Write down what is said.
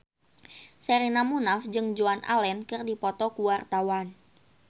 Sherina Munaf jeung Joan Allen keur dipoto ku wartawan